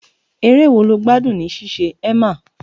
Eré wo lo gbádùn ní ṣíṣe, Emma?